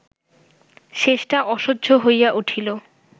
শেষটা অসহ্য হইয়া উঠিল